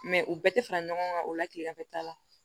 u bɛɛ tɛ fara ɲɔgɔn kan o la tilemafɛta la